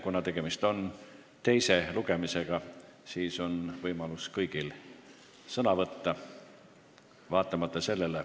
Kuna tegemist on teise lugemisega, siis on võimalus kõigil sõna võtta.